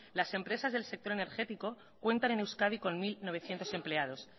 las empresas del sector energético cuentan en euskadi con mil novecientos empleados